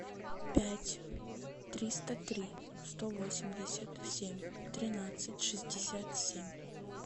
пять триста три сто восемьдесят семь тринадцать шестьдесят семь